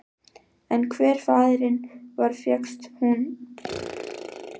En hver faðirinn var fékkst hún ekki til að segja.